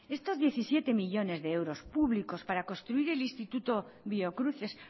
estos diecisiete millónes de euros públicos para construir el instituto biocruces